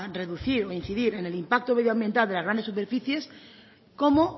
reducir o a incidir en el impacto medioambiental de las grandes superficies como